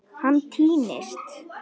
Hann týnist.